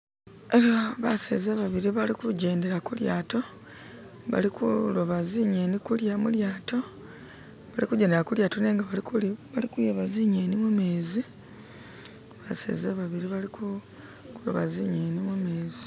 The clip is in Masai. Eha baseza babili bali kujendela kulyato bali kuloba zinyeni mulyato bali kujendela kulyato nenga bali kuloba zinyeni mumezi baseza babili bali ku kuloba zinyeni mumezi